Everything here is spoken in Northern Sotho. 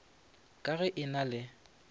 ka ge e na le